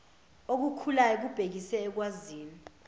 okukhulayo kubhekise olwazini